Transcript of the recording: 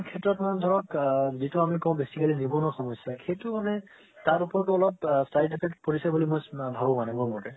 সেইটো আপোনাৰ ধৰক আ যেটো আমি কও basically জীৱনৰ সমস্যা সেটো মানে তাৰ উপৰত অলপ side effect পৰিছে বুলি মই ভাৱো মানে মোৰ মতে